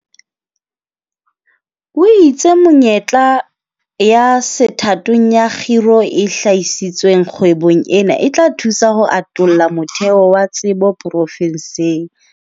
O itse menyetla ya sethathong ya kgiro e hlahisitsweng kgwebong ena e tla thusa ho atolla motheo wa tsebo profenseng.